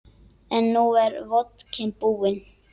En nú er vodkinn búinn.